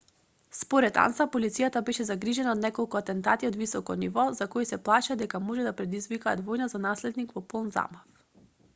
според анса полицијата беше загрижена од неколку атентати од високо ниво за кои се плашеа дека може да предизвикаат војна за наследник во полн замав